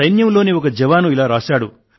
సైన్యంలోని ఒక జవాను ఇలా రాశాడు